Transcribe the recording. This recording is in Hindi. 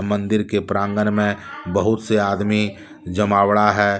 मंदिर के प्रांगण में बहुत से आदमी जमावड़ा है।